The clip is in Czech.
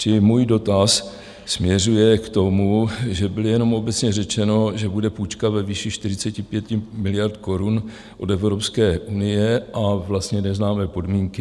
Čili můj dotaz směřuje k tomu, že bylo jenom obecně řečeno, že bude půjčka ve výši 45 miliard korun od Evropské unie, a vlastně neznáme podmínky...